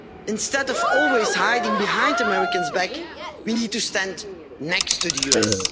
Instead of always hiding behind the Americans, we need to stand next to the USA.